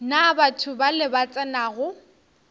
na batho bale ba tsenago